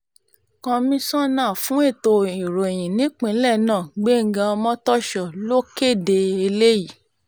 komisanna fún ètò ìròyìn nípìnlẹ̀ náà gbẹ̀ngá ọmọ́tòso ló kéde eléyìí